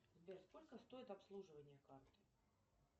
сбер сколько стоит обслуживание карты